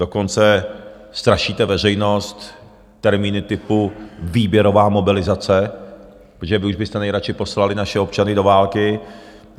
Dokonce strašíte veřejnost termíny typu výběrová mobilizace, protože vy už byste nejradši poslali naše občany do války.